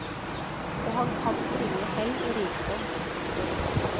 Og han kan bringe hell og rikdom. punktum